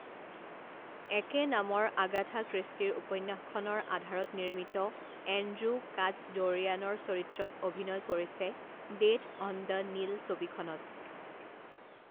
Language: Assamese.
একে নামৰ আগাথা ক্ৰীষ্টিৰ উপন্যাসখনৰ আধাৰত নিৰ্মিত এণ্ড্ৰু কাটচডৌৰিয়ানৰ চৰিত্ৰত অভিনয় কৰিছে ডেথ অন দ্য নীল ছবিখনত।